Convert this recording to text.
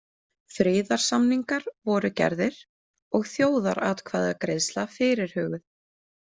Friðarsamningar voru gerðir og þjóðaratkvæðagreiðsla fyrirhuguð.